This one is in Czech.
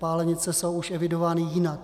Pálenice jsou už evidovány jinak.